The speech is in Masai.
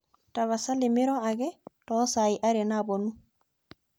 tapasali miro ake too saai are naapuonu